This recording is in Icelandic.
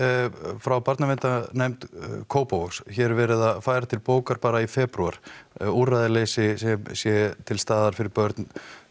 frá barnaverndarnefnd Kópavogs hér er verið að færa til bókar bara í febrúar úrræðaleysi sem sé til staðar fyrir börn